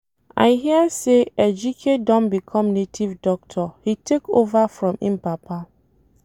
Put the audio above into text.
I hear say Ejike don become native doctor he take over from im papa